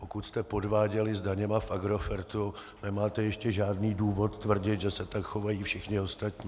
Pokud jste podváděli s daněmi v Agrofertu, nemáte ještě žádný důvod tvrdit, že se tak chovají všichni ostatní.